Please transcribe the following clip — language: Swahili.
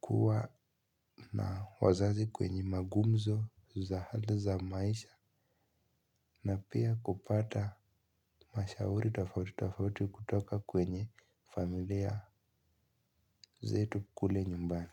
kuwa na wazazi kwenye magumzo za hali za maisha. Na pia kupata mashauri tofauti tofauti kutoka kwenye familia zetu kule nyumbani.